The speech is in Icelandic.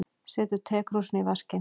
Setur tekrúsina í vaskinn.